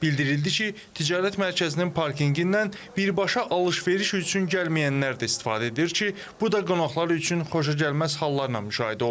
Bildirildi ki, ticarət mərkəzinin parkinqindən birbaşa alış-veriş üçün gəlməyənlər də istifadə edir ki, bu da qonaqlar üçün xoşagəlməz hallarla müşahidə olunur.